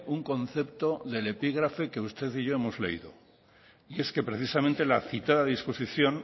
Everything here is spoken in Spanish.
un concepto del epígrafe que usted y yo hemos leído es que precisamente la citada disposición